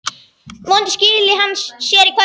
Vonandi skili hann sér í kvöld.